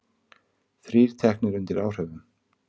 Þrír teknir undir áhrifum